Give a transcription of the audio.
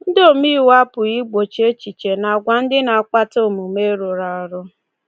Ndị omeiwu apụghị igbochi echiche na agwa ndị na-akpata omume rụrụ arụ.